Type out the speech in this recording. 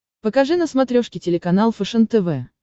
покажи на смотрешке телеканал фэшен тв